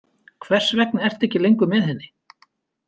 Hvers vegna ertu ekki lengur með henni?